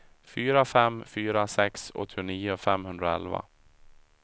fyra fem fyra sex åttionio femhundraelva